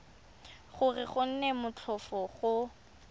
gore go nne motlhofo go